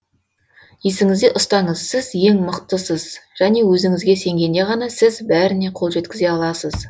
есіңізде ұстаңыз сіз ең мықтысыз және өзіңізге сенгенде ғана сіз бәріне қол жеткізе аласыз